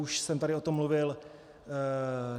Už jsem tady o tom mluvil.